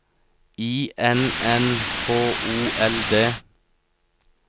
I N N H O L D